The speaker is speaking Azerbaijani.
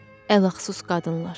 Əlahsus qadınlar.